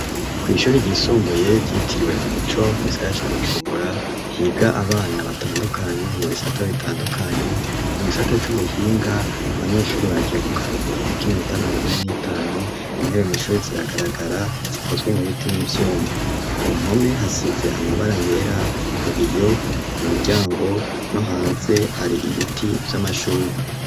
Kw'ishuri ryisumbuye ryitiriwe umuco musaya ca gucumbura higa abana batandukanye ngu bisata bitandukanye mu gisate c'ubuhinga abanyeshuri bagiye mu karuhu kukoinnutamirondure n'itanu intewe mw'ishuri ziragaragara zikozwe mu biti n'ivyumu ku mpome hasize amabara yera ku biyo mu miryango no hanze hari ibiti vy'amashugwa.